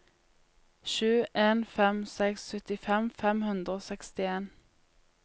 sju en fem seks syttifem fem hundre og sekstien